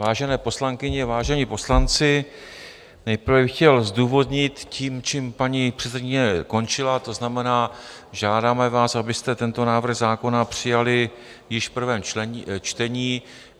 Vážené poslankyně, vážení poslanci, nejprve bych chtěl zdůvodnit tím, čím paní předsedkyně končila, to znamená, žádáme vás, abyste tento návrh zákona přijali již v prvém čtení.